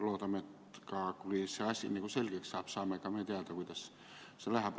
Loodame, et kui see asi selgeks saab, siis saame ka meie teada, kuidas see läheb.